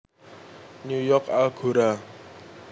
New York Algora